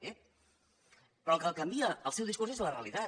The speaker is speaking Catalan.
ep però el que canvia el seu discurs és la realitat